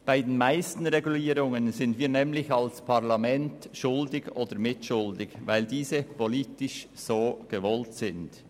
Für die meisten Regulierungen sind wir als Parlament verantwortlich oder mitverantwortlich, weil diese politisch so gewünscht werden.